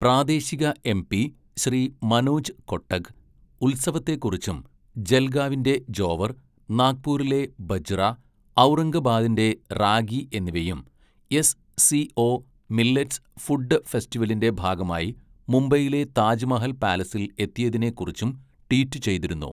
പ്രാദേശിക എംപി ശ്രീ മനോജ് കൊട്ടക് ഉത്സവത്തെക്കുറിച്ചും ജൽഗാവിന്റെ ജോവർ, നാഗ്പൂരിലെ ബജ്റ, ഔറംഗബാദിന്റെ റാഗി എന്നിവയും SCO millets food ഫെസ്റ്റിവലിന്റെ ഭാഗമായി മുംബൈയിലെ താജ്മഹൽ പാലസിൽ എത്തിയതിനെ കുറിച്ചും ട്വീറ്റ് ചെയ്തിരുന്നു.